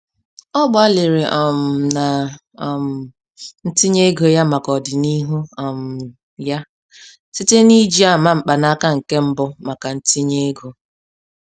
Ọ gbalịrị um na um ntinye ego ya maka ọdinihu um ya site n'iji ama mkpanaka nke mbụ maka ntinye ego.